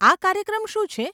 આ કાર્યક્રમ શું છે?